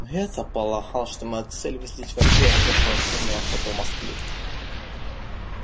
ну я-то полагал что моя цель выследить вампира начавшего активную охоту в москве